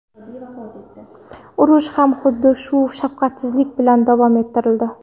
Urush ham xuddi shu shafqatsizlik bilan davom ettirildi.